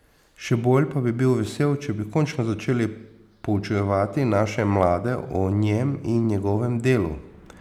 Še bolj pa bi bil vesel, če bi končno začeli poučevati naše mlade o njem in njegovem delu.